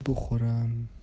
бухарам